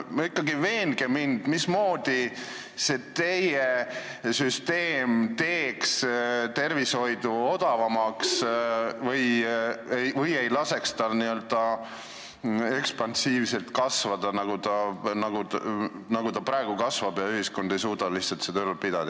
Ikkagi veenge mind, mismoodi teeks see teie süsteem tervishoidu odavamaks või ei laseks tal ekspansiivselt kasvada nagu praegu, nii et ühiskond ei suuda lihtsalt seda ülal pidada.